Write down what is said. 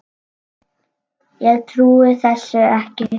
Ég trúi þessu ekki!